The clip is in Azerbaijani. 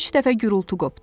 Üç dəfə gurultu qopdu.